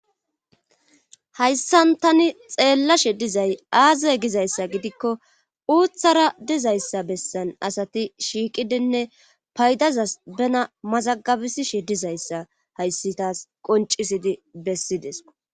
hayssan tani xeellashe dizay aaze gizayssa gidikko uuththara dizayssa bessan asati shiiqidenne paydazas bena mazagabisishe dizayssa hayssi taas qoncisidi bessideso